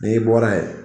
N'i bɔra yen